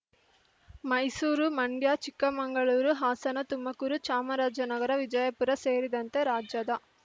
ಮೈಸೂರು ಮಂಡ್ಯ ಚಿಕ್ಕಮಂಗಳೂರು ಹಾಸನ ತುಮಕೂರು ಚಾಮರಾಜನಗರ ವಿಜಯಪುರ ಸೇರಿದಂತೆ ರಾಜ್ಯದ